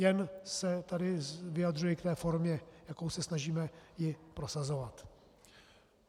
Jen se tu vyjadřuji k té formě, jakou se snažíme ji prosazovat.